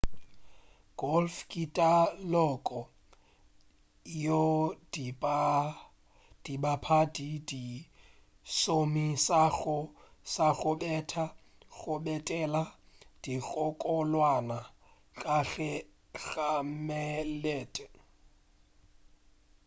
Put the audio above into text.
golf ke taloko yeo dibapadi di šomišago sa go betha go bethela dinkgokolwana ka gare ga melete